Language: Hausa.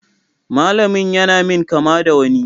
Malamin ya na min kama da wani.